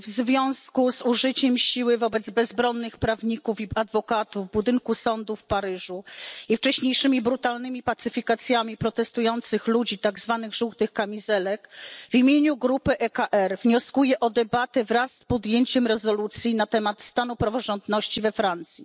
W związku z użyciem siły wobec bezbronnych prawników i adwokatów w budynku sądu w Paryżu i wcześniejszymi brutalnymi pacyfikacjami protestujących ludzi, tak zwanych żółtych kamizelek, w imieniu grupy EKR wnioskuję o debatę wraz z przyjęciem rezolucji na temat stanu praworządności we Francji.